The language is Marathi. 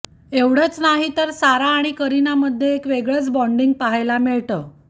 एवढंच नाही तर सारा आणि करीनामध्ये एक वेगळंच बॉन्डिंग पाहायला मिळतं